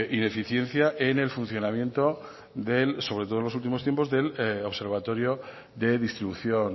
ineficiencia en el funcionamiento sobre todo en los últimos tiempos del observatorio de distribución